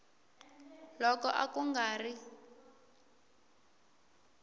loko a ku nga ri